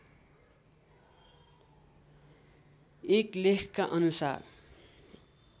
एक लेखका अनुसार